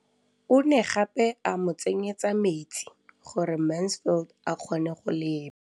O ne gape a mo tsenyetsa metsi gore Mansfield a kgone go lema.